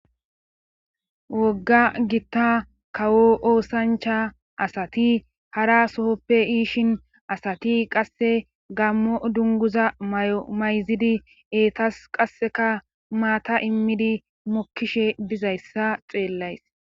Wogga gitta kawo oosancha asati hara sohoppe iishin asati qasse gammo dunguza yomayzidi eetas qasseka maata immidi mokkishe bizayssa xeellays